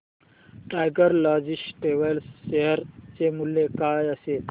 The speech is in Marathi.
टायगर लॉजिस्टिक्स शेअर चे मूल्य काय असेल